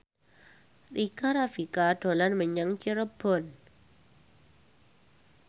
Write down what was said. Rika Rafika dolan menyang Cirebon